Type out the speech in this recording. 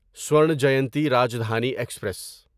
Swarna Jayanti Rajdhani express